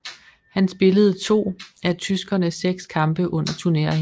Han spillede to af tyskernes seks kampe under turneringen